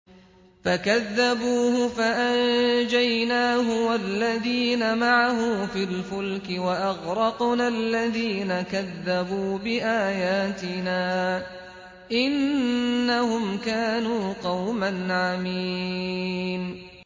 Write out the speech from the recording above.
فَكَذَّبُوهُ فَأَنجَيْنَاهُ وَالَّذِينَ مَعَهُ فِي الْفُلْكِ وَأَغْرَقْنَا الَّذِينَ كَذَّبُوا بِآيَاتِنَا ۚ إِنَّهُمْ كَانُوا قَوْمًا عَمِينَ